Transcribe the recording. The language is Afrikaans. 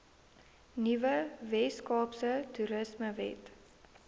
nuwe weskaapse toerismewet